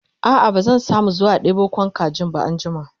a'a ba zan samu zuwa ɗebo Kwan kajin ba anjima